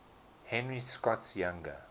henry scott's younger